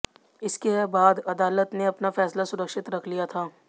इसके बाद अदालत ने अपना फैसला सुरक्षित रख लिया था